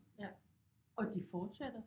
Ja og de fortsætter